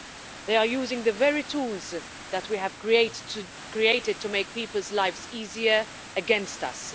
They are using the very tools that we have created to make people's lives easier against us.